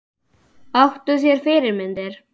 Áttu þér fyrirmyndir?